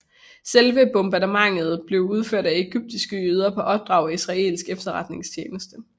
Selve bombeattentaterne blev udført af egyptiske jøder på opdrag af israelsk efterretningstjeneste